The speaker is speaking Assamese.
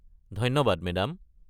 ধন্যবাদ মেদাম।